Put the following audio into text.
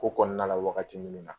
Ko kɔnɔna la , wagati minnu na